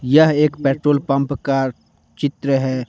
यह एक petrol pump का चित्र है।